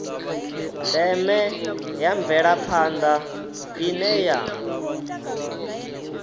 ndeme ya mvelaphanda ine ya